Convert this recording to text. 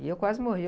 E eu quase morria.